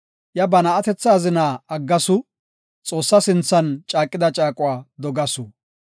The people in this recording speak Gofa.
Iya ba na7atetha azina aggaagasu; Xoossa sinthan caaqida caaquwa dogasu.